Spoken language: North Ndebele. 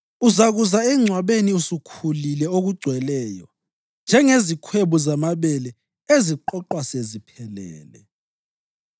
Uzakuza engcwabeni usukhulile okugcweleyo njengezikhwebu zamabele eziqoqwa seziphelele.